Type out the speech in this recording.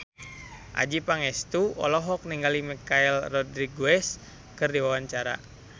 Adjie Pangestu olohok ningali Michelle Rodriguez keur diwawancara